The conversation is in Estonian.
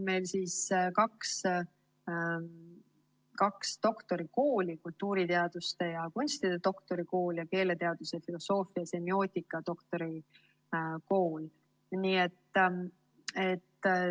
Meil on kaks doktorikooli: kultuuriteaduste ja kunstide doktorikool ning keeleteaduse, filosoofia ja semiootika doktorikool.